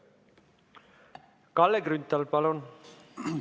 Kalle Grünthal, palun!